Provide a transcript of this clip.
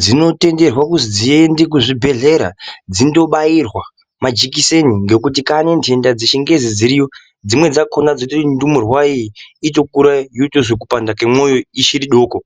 dzinotenderwe kuzi dziende kuzvibhedhlera, dzindobairwa majikiseni, ngekuti kaani ntenda dzichingezi dziriyo, dzimweni dzakhona dzinoite kuti ndumurwayi itokura yotozwe kupanda kemoyo ichiri doko.